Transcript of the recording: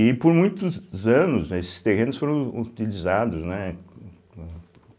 E por muitos anos esses terrenos foram utilizados, né com com?